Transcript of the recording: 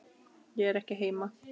Ég er ekki heima